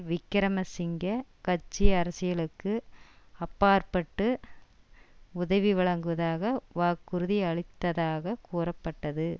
விக்கிரமசிங்க கட்சி அரசியலுக்கு அப்பாற்பட்டு உதவி வழங்குவதாக வாக்குறுதி அளித்ததாக கூறப்பட்டது